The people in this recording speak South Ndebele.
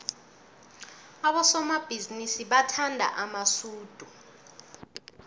abosomabhizinisi bathanda amasudu